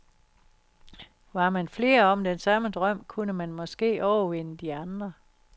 Var man flere om den samme drøm, kunne man måske overvinde de andre.